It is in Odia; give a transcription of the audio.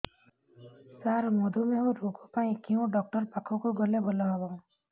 ସାର ମଧୁମେହ ରୋଗ ପାଇଁ କେଉଁ ଡକ୍ଟର ପାଖକୁ ଗଲେ ଭଲ ହେବ